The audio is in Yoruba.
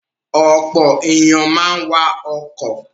Ọ̀pọ̀ ènìyàn máa ń wa ọkọ̀.